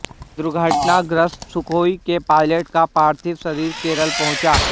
दुर्घटनाग्रस्त सुखोई के पायलट का पार्थिव शरीर केरल पहुंचा